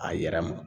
A yɛrɛ ma